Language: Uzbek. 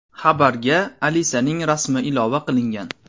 Xabarga Alisaning rasmi ilova qilingan.